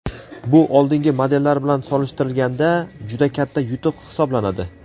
Bu oldingi modellar bilan solishtirganda juda katta yutuq hisoblanadi.